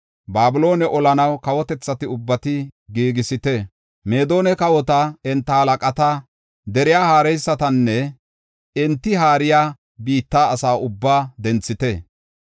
Babiloone olanaw kawotethata ubbaa giigisite; Meedona kawota, enta halaqata, deriya haareysatanne enti haariya biitta asa ubbaa denthite.